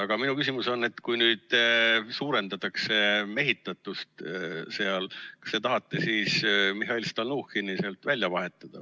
Aga minu küsimus on, et kui nüüd suurendatakse mehitatust seal komisjonis, kas te tahate siis Mihhail Stalnuhhini sealt välja vahetada.